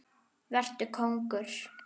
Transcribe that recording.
Vetur kóngur.